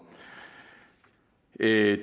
det er